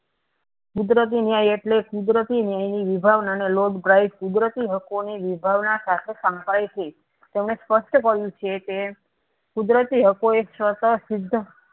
કુદરતી ન્યાય એટલે કુદરતી ન્યાયની નિભાવનાર ને lord bright કુદરતી હકો ના નિભાવ સાથે સંકળાય છે તેમણે સ્પષ્ટ કહ્યું છે કે કુદરતી હકો એ સિદ્ધ